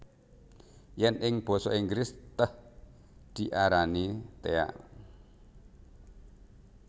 Yèn ing basa Inggris tèh diarani tea